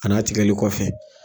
Ani a tigɛli kɔfɛ.